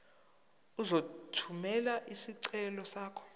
uzothumela isicelo sakho